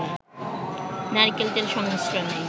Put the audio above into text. নারিকেল তেল সংমিশ্রণে